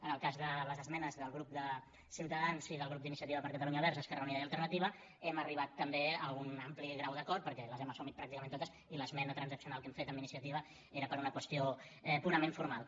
en el cas de les esmenes del grup de ciutadans i del grup d’iniciativa per catalunya verds esquerra unida i alternativa hem arribat també a un ampli grau d’acord perquè les hem assumit pràcticament totes i l’esmena transaccional que hem fet amb iniciativa era per una qüestió purament formal